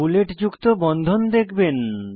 বুলেটযুক্ত বন্ধন দেখবেন